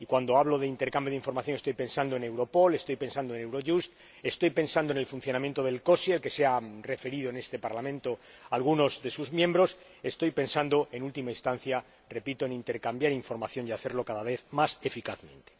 y, cuando hablo de intercambio de información, estoy pensando en Europol, estoy pensando en Eurojust, estoy pensando en el funcionamiento del COSI, al que se han referido en este Parlamento algunos de sus miembros, estoy pensando, en última instancia, en intercambiar información y hacerlo cada vez más eficazmente.